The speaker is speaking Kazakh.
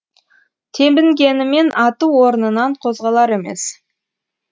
тебінгенімен аты орнынан қозғалар емес